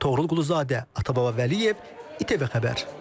Toğrul Quluzadə, Atababa Vəliyev, ITV Xəbər.